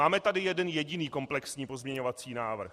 Máme tady jeden jediný komplexní pozměňovací návrh.